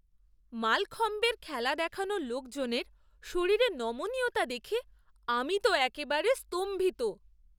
মালখম্বের খেলা দেখানো লোকজনের শরীরে নমনীয়তা দেখে আমি তো একেবারে স্তম্ভিত!